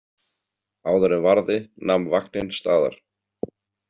Áður en varði nam vagninn staðar.